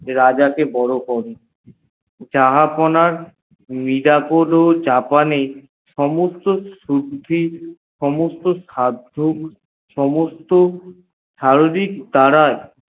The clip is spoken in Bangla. রাজা কে বড় করে জাহাপন নিরাপদ জাহারে সমস্ত বুধহী সমস্ত সর্দিক